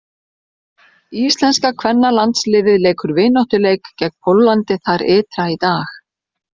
Íslenska kvennalandsliðið leikur vináttuleik gegn Póllandi þar ytra í dag.